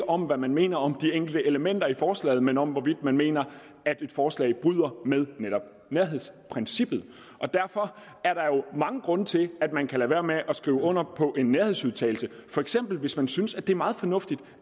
om hvad man mener om de enkelte elementer i forslaget men om hvorvidt man mener at et forslag bryder med netop nærhedsprincippet derfor er der jo mange grunde til at man kan lade være med at skrive under på en nærhedsudtalelse for eksempel hvis man synes det er meget fornuftigt